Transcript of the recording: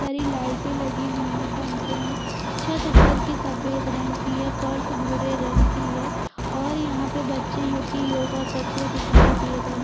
सारी लाईटे लगी हुई है पंखे है छत उपर कि सफेद रंग कि है फर्स भुरे रंग कि है और यहाँ पे बच्चे जो की योगा करते हुए दिखाई दे रहे--